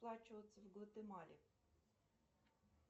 сплачиваться в гватемале